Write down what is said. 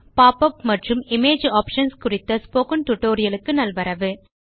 pop up மற்றும் image options குறித்த spoken tutorial க்கு நல்வரவு